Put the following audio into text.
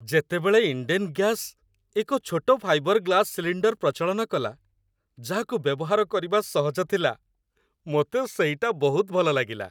ଯେତେବେଳେ ଇଣ୍ଡେନ୍ ଗ୍ୟାସ୍ ଏକ ଛୋଟ ଫାଇବର୍ ଗ୍ଲାସ୍ ସିଲିଣ୍ଡର୍ ପ୍ରଚଳନ କଲା, ଯାହାକୁ ବ୍ୟବହାର କରିବା ସହଜ ଥିଲା, ମୋତେ ସେଇଟା ବହୁତ ଭଲ ଲାଗିଲା